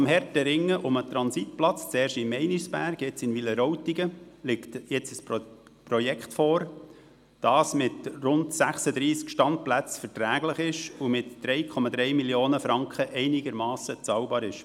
Dank des harten Ringens um den Transitplatz, zuerst in Meinisberg, jetzt in Wileroltigen, liegt jetzt ein Projekt vor, welches mit rund 36 Standplätzen verträglich und mit 3,3 Mio. Franken einigermassen bezahlbar ist.